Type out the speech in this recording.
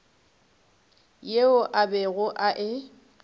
yeo a bego a e